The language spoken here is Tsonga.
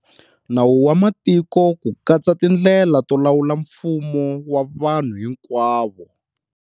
Nawu wa Matiko ku katsa tindlela to lawula mfumo wa vanhu hinkwavo.